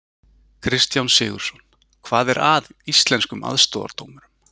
Kristján Sigurðsson: Hvað er að Íslenskum aðstoðardómurum?